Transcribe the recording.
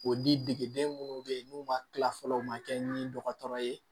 O dieden munnu bɛ yen n'u ma kila fɔlɔ u ma kɛ ni dɔgɔtɔrɔ ye